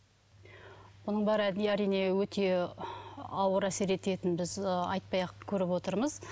мұның бәрі әрине өте ауыр әсер ететінін біз ы айтпай ақ көріп отырмыз